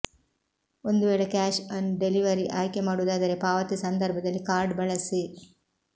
ಒಂದು ವೇಳೆ cash on delivery ಆಯ್ಕೆ ಮಾಡುವುದಾದರೆ ಪಾವತಿ ಸಂದರ್ಭದಲ್ಲಿ ಕಾರ್ಡ್ ಬಳಸಿ